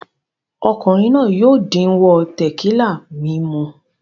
Ọkùnrin náà yóò díwọ́ tẹ̀kílà mímu.